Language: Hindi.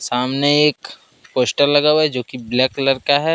सामने एक पोस्टर लगा हुआ है जो की ब्लैक कलर का है।